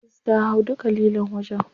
Bilkisu ta hau duka lilon wajen.